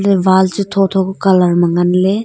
e wall chu thotho ka colour ma ngan le.